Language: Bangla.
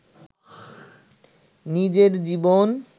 নিজের জীবন